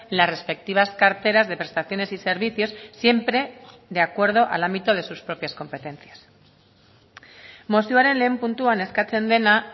las respectivas carteras de prestaciones y servicios siempre de acuerdo al ámbito de sus propias competencias mozioaren lehen puntuan eskatzen dena